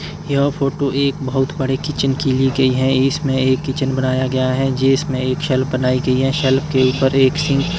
यह फोटो एक बहोत बड़े किचन की ली गई है इसमें एक किचन बनाया गया है जिसमें एक शेल्फ बनाई गई है शेल्फ के ऊपर एक सिंक --